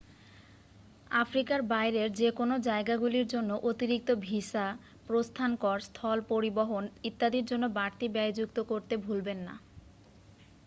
আফ্রিকার বাইরের যেকোনোও জায়গাগুলির জন্য অতিরিক্ত ভিসা প্রস্থান কর স্থল পরিবহন ইত্যাদির জন্য বাড়তি ব্যয় যুক্ত করতে ভুলবেন না